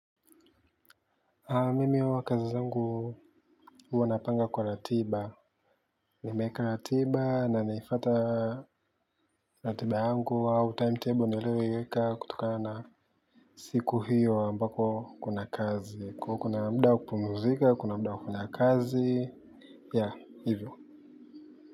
Mimi huwa kazi zangu huwa napanga kwa ratiba. Nimeeka ratiba na naifata ratiba yangu au timetable niliyoiweka kutokana na siku hiyo ambako kuna kazi. Kwaio kuna mda wa kupumzika, kuna mda wa kufanya kazi, ya hivyo.